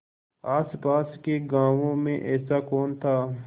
आसपास के गाँवों में ऐसा कौन था